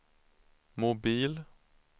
mobil